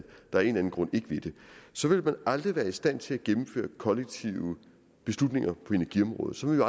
der af en eller anden grund ikke vil så vil man aldrig være i stand til at gennemføre kollektive beslutninger på energiområdet så vil